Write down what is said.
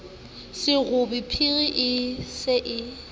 serobe phiri e se e